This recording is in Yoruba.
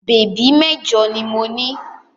Bèbí mẹ́jọ ni mo ní.